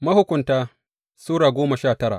Mahukunta Sura goma sha tara